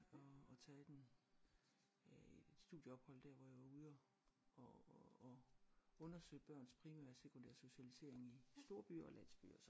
Og og taget den øh et studieophold der hvor jeg var ude og og og undersøge børns primære og sekundære socialisering i storbyer og landsbyer